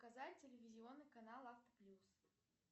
показать телевизионный канал авто плюс